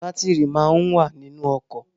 Batiri máa ń wà nínú ọkọ̀